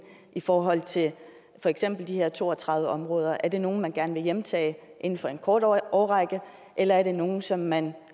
i forhold til for eksempel de her to og tredive områder er det nogle man gerne vil hjemtage inden for en kort årrække eller er det nogle som man